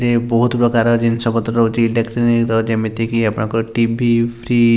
ବୋହୁତ ପ୍ରକାର ଜିନ୍ସ ପତ୍ର ରହୁଚି ଡେକ୍ସିମିର ଯେମିତିକି ଟି_ଭି ଫ୍ରିଜ୍ --